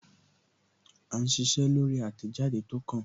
À ń ṣiṣẹ́ lórí àtẹ̀jáde tó kàn